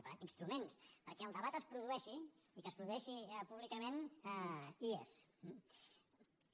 per tant instruments perquè el debat es produeixi i que es produeixi públicament hi són